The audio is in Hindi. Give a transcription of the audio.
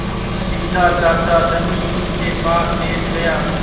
बिन्दा चाचा धनी उनके पास बैठ गया